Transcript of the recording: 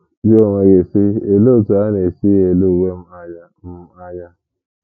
Jụọ onwe gị, sị: ‘ Olee otú a na - esi ele uwe m anya m anya?